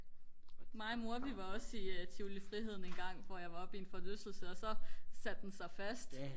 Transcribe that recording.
mig og mor vi var også i tivoli friheden engang hvor jeg var oppe i en forlystelse og så satte den sig fast